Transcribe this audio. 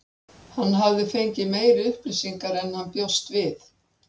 Hann hafði fengið meiri upplýsingar en hann bjóst við.